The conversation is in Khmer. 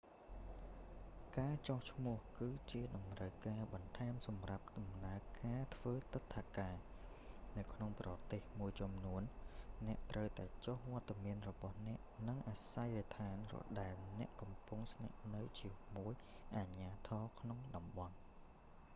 ការចុះឈ្មោះ គឺជាតម្រូវការបន្ថែមសម្រាប់ដំណើរការធ្វើទិដ្ឋាការ នៅក្នុងប្រទេសមួយចំនួន អ្នកត្រូវតែចុះវត្តមានរបស់អ្នក និងអាសយដ្ឋានដែលអ្នកកំពុងស្នាក់នៅជាមួយនឹងអាជ្ញាធរក្នុងតំបន់